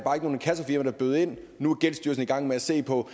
var der bød ind nu er gældsstyrelsen i gang med at se på